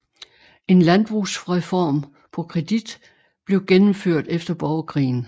En landbrugsreform på kredit blev gennemført efter borgerkrigen